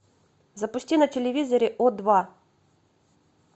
запусти на телевизоре о два